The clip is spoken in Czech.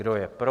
Kdo je pro?